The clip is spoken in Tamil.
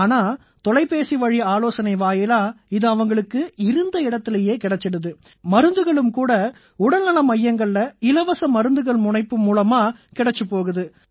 ஆனா தொலைபேசி வழி ஆலோசனை வாயிலா இது அவங்களுக்கு இருந்த இடத்திலேயே கிடைச்சுடுது மருந்துகளும் கூட உடல்நல மையங்கள்ல இலவச மருந்துகள் முனைப்பு மூலமா கிடைச்சுப் போகுது